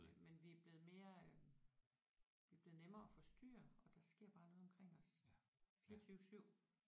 Men vi er blevet mere øh vi er blevet nemmere at forstyrre og der sker bare noget omkring os 24 7